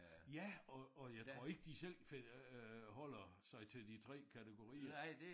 Ja og og jeg tror ikke de selv øh holder sig til de 3 kategorier